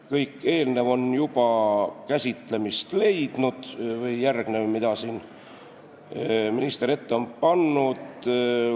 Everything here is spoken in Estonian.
Kõik järgnev, mida minister ette pani, on juba siin käsitlemist leidnud.